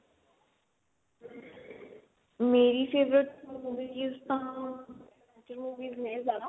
ਮੇਰੀ favorite hobbies ਤਾਂ movies ਨੇ ਜਿਆਦਾ